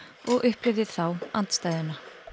og upplifði þá andstæðuna